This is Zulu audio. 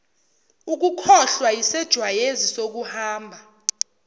ukukhohlwa yisejwayezi sokuhamba